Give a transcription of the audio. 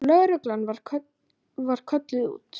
Lögreglan var kölluð út.